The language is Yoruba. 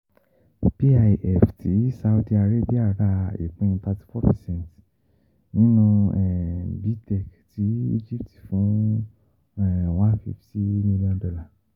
PIF ti Saudi Arabia ra ìpín 34 percent nínú B. Tech ti Egypt fún $150M